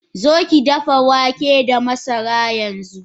Zokidafa wake da masara yanxu!